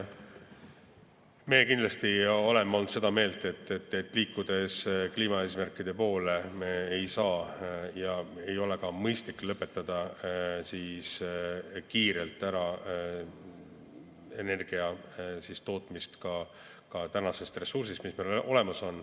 Me kindlasti oleme olnud seda meelt, et liikudes kliimaeesmärkide poole, me ei saa ja meil ei ole ka mõistlik lõpetada kiirelt energia tootmine tänasest ressursist, mis meil olemas on.